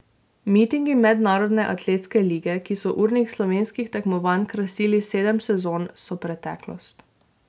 Mitingi mednarodne atletske lige, ki so urnik slovenskih tekmovanj krasili sedem sezon, so preteklost.